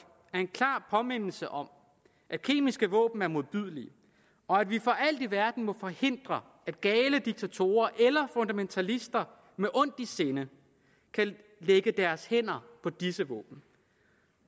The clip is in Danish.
er en klar påmindelse om at kemiske våben er modbydelige og at vi for alt i verden må forhindre at gale diktatorer eller fundamentalister med ondt i sinde kan lægge deres hænder på disse våben